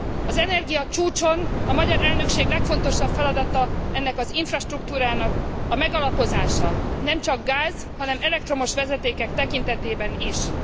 Az energiacsúcson a magyar elnökség legfontosabb feladata ennek az infrastruktúrának a megalapozása, nemcsak a gáz, hanem az elektromos vezetékek tekintetében is.